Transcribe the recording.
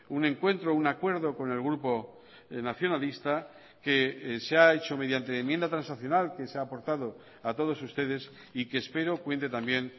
un encuentro un acuerdo con el grupo nacionalista que se ha hecho mediante enmienda transaccional que se ha aportado a todos ustedes y que espero cuente también